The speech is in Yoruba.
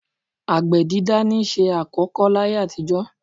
Àgbẹ̀ dídá niṣẹ́ àkọ́kọ́ láyé àtijọ́.